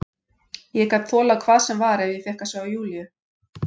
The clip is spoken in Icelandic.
Ég gat þolað hvað sem var ef ég fékk að sjá Júlíu.